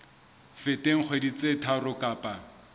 feteng dikgwedi tse tharo kapa